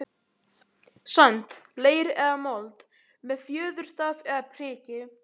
sand, leir eða mold, með fjöðurstaf eða priki.